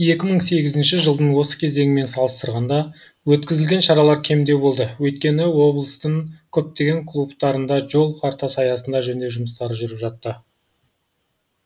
екі мың сегізінші жылдың осы кезеңімен салыстырғанда өткізілген шаралар кемдеу болды өйткені облыстың көптеген клубтарында жол картасы аясында жөндеу жұмыстары жүріп жатты